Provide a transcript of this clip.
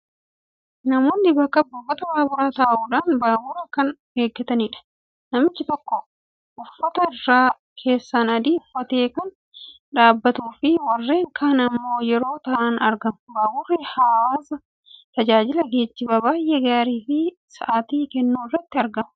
Namoonni bakka buufata Baaburaa taa'uudhaan Baabura kan eeggatanidha. Namichi tokko uffata irra keessaan adii uffatee kan dhaabbatuufi warreen kaan immoo yeroo taa'an argamu. Baaburri hawwasaaf tajaajila geejjibaa baay'ee gaarii fi si'ataa kennuu irratti argama.